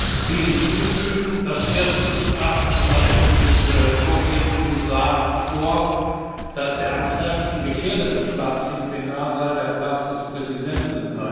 Ich will hinzufügen, nach dem ersten Gutachten, das uns vorgelegt wurde, war der am stärksten gefährdete Platz im Plenarsaal der Platz des Präsidenten.